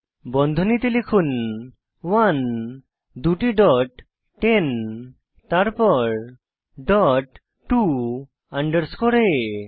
বন্ধনীতে লিখুন 1 দুটি ডট 10 তারপর ডট টো আন্ডারস্কোর আ